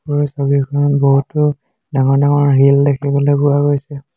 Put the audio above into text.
ওপৰৰ ছবিখনত বহুতো ডাঙৰ ডাঙৰ হিল দেখিবলৈ পোৱা গৈছে।